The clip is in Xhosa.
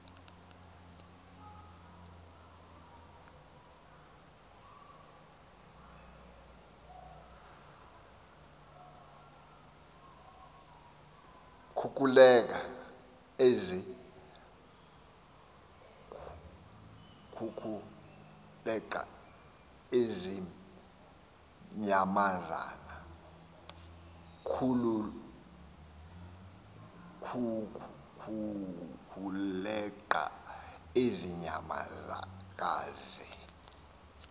kukuleqa ezi nyamakazi